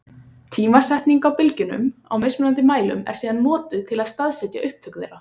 Tímasetning á bylgjunum á mismunandi mælum er síðan notuð til að staðsetja upptök þeirra.